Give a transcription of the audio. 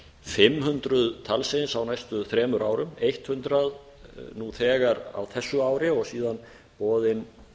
fimm hundruð talsins á næstu þremur árum hundrað nú þegar á þessu ári og síðan boðin